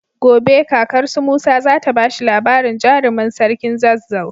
Gobe kakar su musa zata bashi labarin jarimin sarkin zazzau